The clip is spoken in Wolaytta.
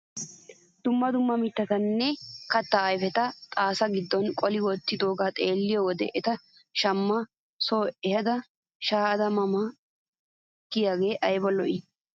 Dumma dumma mittaanne kattaa ayfeti xaasaa gido qoli wottidogaa xeelliyo wode eta shamma soo ehaada shaayda ma ma giyaagee ayba lo"ii!